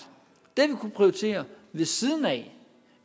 det prioritere ved siden af